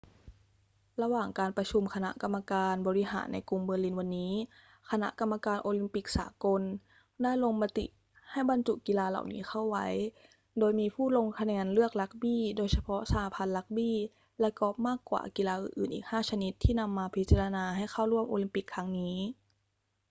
ระหว่างการประชุมคณะกรรมการบริหารในกรุงเบอร์ลินวันนี้ คณะกรรมการโอลิมปิกสากลได้ลงมติให้บรรจุกีฬาเหล่านี้เข้าไว้ โดยมีผู้ลงคะแนนเลือกรักบี้ โดยเฉพาะสหพันธ์รักบี้ และกอล์ฟมากกว่ากีฬาอื่นๆ อีก 5 ชนิดที่นำมาพิจารณาให้เข้าร่วมโอลิมปิกครั้งนี้